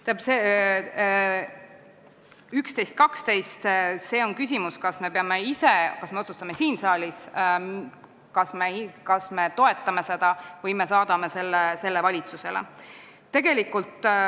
Tähendab, ettepanekud nr 11 ja 12 käsitlevad küsimust, kas me otsustame siin saalis, kas me toetame seda raamistikku, või me saadame selle valitsusele.